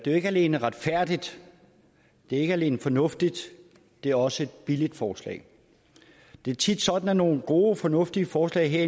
ikke alene retfærdigt det er ikke alene fornuftigt det er også et billigt forslag det er tit sådan at nogle gode fornuftige forslag her